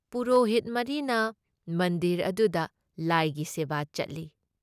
ꯄꯨꯔꯣꯍꯤꯠ ꯃꯔꯤꯅ ꯃꯟꯗꯤꯔ ꯑꯗꯨꯗ ꯂꯥꯏꯒꯤ ꯁꯦꯕꯥ ꯆꯠꯂꯤ ꯫